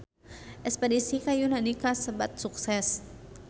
Espedisi ka Yunani kasebat sukses